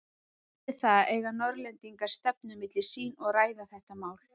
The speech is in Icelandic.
Eftir það eigu Norðlendingar stefnu milli sín og ræða þetta mál.